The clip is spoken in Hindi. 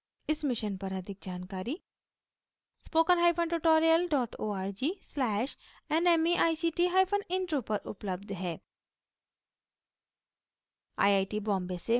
इस मिशन पर अधिक जानकारी